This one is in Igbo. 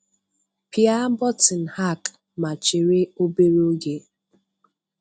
Pịa botinu'Hack', ma chere obere oge.